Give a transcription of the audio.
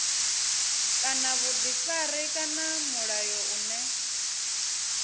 kana vhuḓifari kana mulayo une